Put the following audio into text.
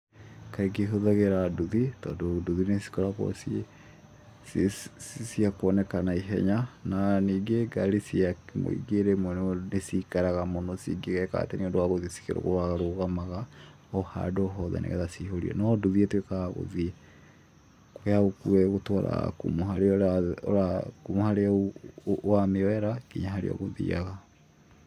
Kaingĩ hũthagĩra nduthi tondũ nduthi nĩcikoragwo ciĩ cia kuoneka na ihenya, na ningĩ ngari cia mũingĩ rĩmwe nĩ cikaraga mũno cingĩgeka atĩ nĩũndũ wa gũthiĩ cikĩrũgarũgamaga o handu hothe nĩ getha cihũrie, no nduthi ĩtuĩkaga ya gũthiĩ, yagũkua ĩgũtwaraga kuma o harĩa wamĩoera nginya harĩa ũgũthiaga.